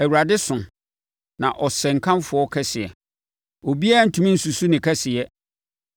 Awurade so, na ɔsɛ nkamfo kɛseɛ; obiara rentumi nsusu ne kɛseyɛ.